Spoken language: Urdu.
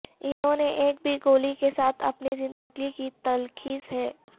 انہوں نے ایک بھی گولی کے ساتھ اپنی زندگی کی تلخیص ہے